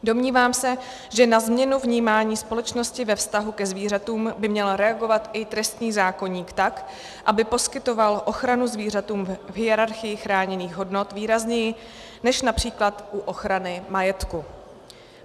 Domnívám se, že na změnu vnímání společnosti ve vztahu ke zvířatům by měl reagovat i trestní zákoník tak, aby poskytoval ochranu zvířatům v hierarchii chráněných hodnot výrazněji než například u ochrany majetku.